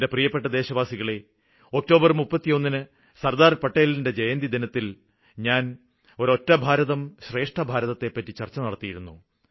എന്റെ പ്രിയപ്പെട്ട ദേശവാസികളേ ഒക്ടോബര് 31 ന് സര്ദാര് പട്ടേലിന്റെ ജയന്തിദിനത്തില് ഞാന് ഒരൊറ്റ ഭാരതം ശ്രേഷ്ഠ ഭാരതത്തെപ്പറ്റി ചര്ച്ച നടത്തിയിരുന്നു